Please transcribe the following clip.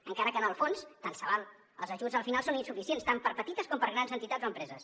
encara que en el fons tant se val els ajuts al final són insuficients tant per a petites com per a grans entitats o empreses